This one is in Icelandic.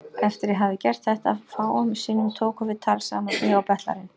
Eftir að ég hafði gert þetta fáum sinnum tókum við tal saman, ég og betlarinn.